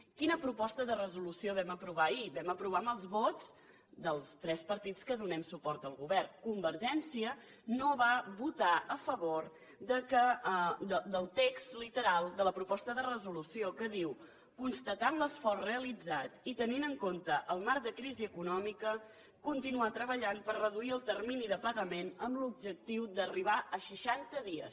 quina proposta de resolució vam aprovar ahir ho vam aprovar amb els vots dels tres partits que donem suport al govern convergència no va votar a favor del text literal de la proposta de resolució que diu constatant l’esforç realitzat i tenint en compte el marc de crisi econòmica continuar treballant per reduir el termini de pagament amb l’objectiu d’arribar a seixanta dies